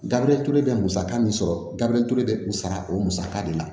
Gabiriyɛri ture bɛ musaka min sɔrɔ gabiriyɛritule bɛ o sara o musaka de la